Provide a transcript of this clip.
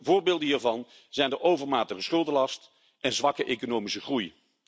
Voorbeelden hiervan zijn de overmatige schuldenlast en zwakke economische groei.